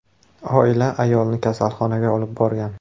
Oila ayolni kasalxonaga olib borgan.